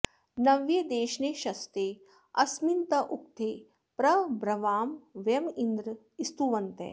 नव्ये॑ दे॒ष्णे श॒स्ते अ॒स्मिन् त॑ उ॒क्थे प्र ब्र॑वाम व॒यमि॑न्द्र स्तु॒वन्तः॑